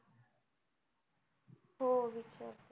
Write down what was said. हो विचारते.